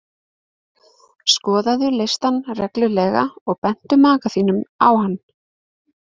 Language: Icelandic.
Skoðaðu listann reglulega og bentu maka þínum á hann.